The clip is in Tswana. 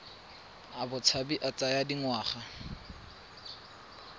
a botshabi a tsaya dingwaga